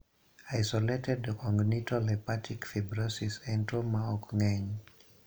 Isolated congenital hepatic fibrosis en tuo ma ok ng'eny.